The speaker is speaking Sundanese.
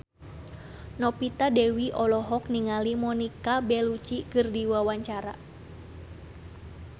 Novita Dewi olohok ningali Monica Belluci keur diwawancara